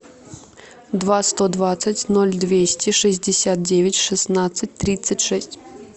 два сто двадцать ноль двести шестьдесят девять шестнадцать тридцать шесть